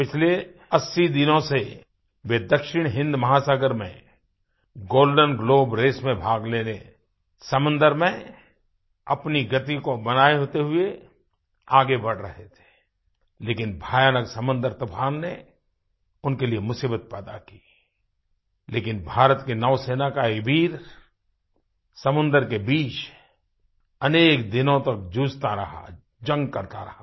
पिछले 80 दिनों से वे दक्षिण हिन्द महासागर में गोल्डेन ग्लोब रेस में भाग लेने समुंदर में अपनी गति को बनाये रखते हुए आगे बढ़ रहे थे लेकिन भयानक समुद्री तूफ़ान ने उनके लिए मुसीबत पैदा की लेकिन भारत के नौसेना का ये वीर समुंदर के बीच अनेक दिनों तक जूझता रहा जंग करता रहा